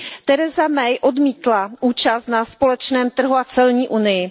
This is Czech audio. Theresa Mayová odmítla účast na společném trhu a celní unii.